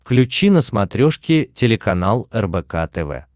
включи на смотрешке телеканал рбк тв